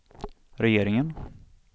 regeringen